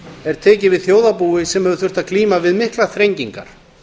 er tekið við þjóðarbúi sem hefur þurft að glíma við miklar þrengingar